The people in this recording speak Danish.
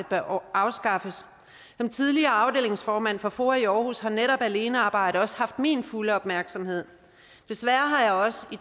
bør afskaffes som tidligere afdelingsformand for foa i aarhus har netop alenearbejde også haft min fulde opmærksomhed desværre har jeg også i